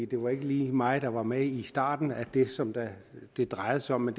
det var ikke lige mig der var med i starten af det som det det drejer sig om men